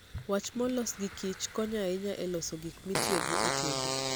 Wach molos gi Kich konyo ahinya e loso gik mitiyogo e tedo.